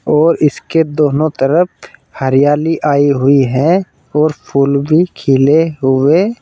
और इसके दोनों तरफ हरियाली आई हुई है और फूल भी खिले हुए--